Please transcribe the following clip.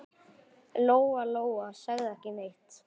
Lóa-Lóa sagði ekki neitt.